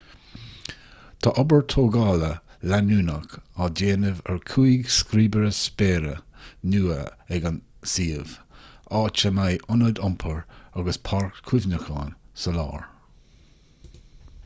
tá obair tógála leanúnach á déanamh ar chúig scríobaire spéire nua ag an suíomh áit a mbeidh ionad iompair agus páirc chuimhneacháin sa lár